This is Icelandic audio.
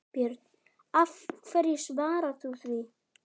Björn: Hverju svarar þú því?